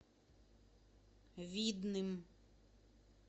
видным